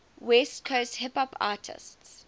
west coast hip hop artists